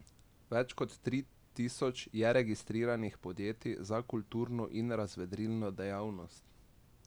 Več kot tri tisoč je registriranih podjetij za kulturno in razvedrilno dejavnost.